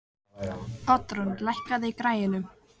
Oddrún, lækkaðu í græjunum.